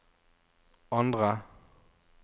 andre